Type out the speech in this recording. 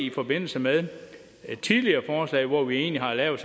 i forbindelse med tidligere forslag hvor vi egentlig har lavet